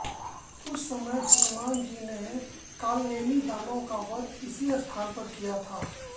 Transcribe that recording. उस समय हनुमान जी ने कालनेमी दानव का वध इसी स्थान पर किया था